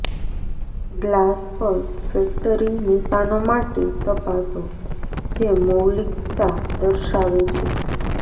glass પર factory નિશાનો માટે તપાસો જે મૌલિક્તા દર્શાવે છે